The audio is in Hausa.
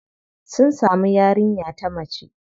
Sun samu yarinya ta mace.